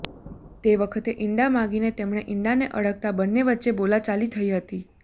તે વખતે ઈંડા માગીને તેમણે ઈડાને અડકતાં બંને વચ્ચે બોલાચાલી થઈ હતી